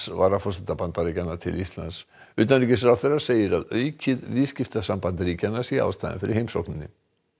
varaforseta Bandaríkjanna til Íslands utanríkisráðherra segir að aukið viðskiptasamband ríkjanna sé ástæðan fyrir heimsókninni